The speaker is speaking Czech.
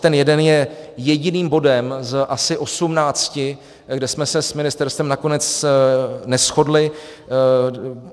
Ten jeden je jediným bodem z asi 18, kde jsme se s ministerstvem nakonec neshodli.